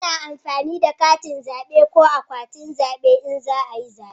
Ana amfani da katin zabe da akwatin zabe in za a yi zabe